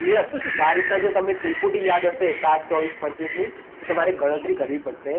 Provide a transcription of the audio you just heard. Clear? તો આ રીતના જો તમે ત્રિપુટી યાદ હશે સાત, ચોવીસ, પચીસની. તો તમારે ગણતરી કરવી પડશે